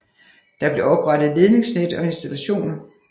Der blev oprettet ledningsnet og installationer